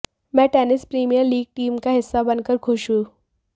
मैं tennis premier league team का हिस्सा बनकर खुश हूं